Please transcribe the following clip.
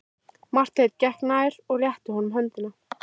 Marteinn gekk nær og rétti honum höndina.